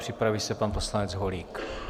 Připraví se pan poslanec Holík.